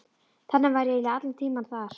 Þannig var ég eiginlega allan tímann þar.